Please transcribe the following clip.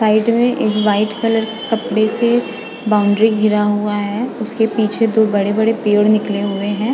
Side मै एक white colour के कपड़े से बॉंन्ड्री गिरा हुआ है उसके पीछे दो बड़े बड़े पेड़ निकले हुए है।